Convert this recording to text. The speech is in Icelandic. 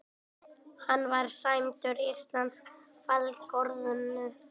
Hann var sæmdur íslensku fálkaorðunni